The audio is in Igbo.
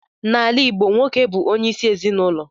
N'ala Igbo, nwoke bu onye isi ezinulo.